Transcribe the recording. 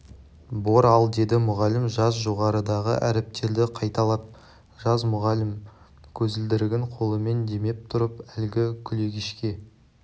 бор ал деді мұғалім жаз жоғарыдағы әріптерді қайталап жаз мұғалім көзілдірігін қолымен демеп тұрып әлгі күлегешке